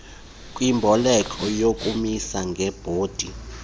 kwimboleko yokumisa ngebhondi